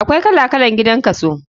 Akwai kala kalan gidan kaso.